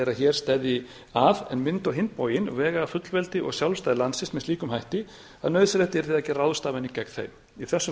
að hér steðji að en mundu á hinn bóginn vega að fullveldi og sjálfstæði landsins með slíkum hætti að nauðsynlegt yrði að gera ráðstafanir gegn þeim í þessum